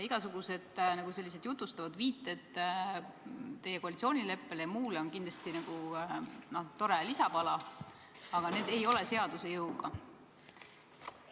Igasugused jutustavad viited teie koalitsioonileppele ja muule on kindlasti tore lisapala, aga need ei ole seaduse jõuga.